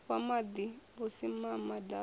wa maḓi na vhusimama ḓaka